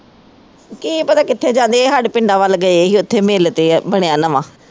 ਕੀ ਪਤਾ ਕਿੱਥੇ ਜਾਂਦੇ ਇਹ ਹਾਡੇ ਪਿੰਡਾਂ ਵਲ ਗਏ ਈ ਉੱਥੇ ਮਿਲ ਤੇ ਬਣਿਆ ਨਵਾਂ